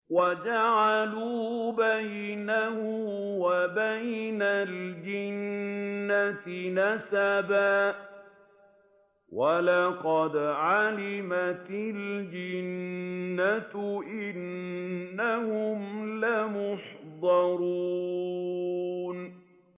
وَجَعَلُوا بَيْنَهُ وَبَيْنَ الْجِنَّةِ نَسَبًا ۚ وَلَقَدْ عَلِمَتِ الْجِنَّةُ إِنَّهُمْ لَمُحْضَرُونَ